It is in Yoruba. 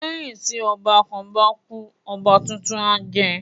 Lẹ́yìn tí ọba kan bá kú, ọba tuntun á jẹ